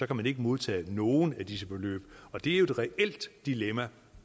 kan man ikke modtage nogen af disse beløb og det er jo et reelt dilemma